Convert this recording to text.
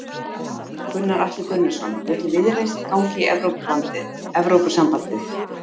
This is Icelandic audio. Gunnar Atli Gunnarsson: Vill Viðreisn ganga í Evrópusambandið?